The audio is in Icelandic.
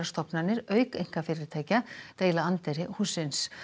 stofnanir auk einkafyrirtækja deila anddyri hússins